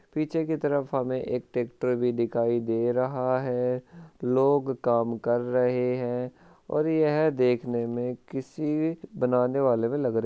पीछे की तरफ हमे एक ट्रेक्टर भी दिखाई दे रहा है लोग काम कर रहे हैं और यह देखने में किसी बनाने वाले भी लग रे --